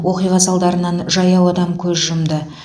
оқиға салдарынан жаяу адам көз жұмды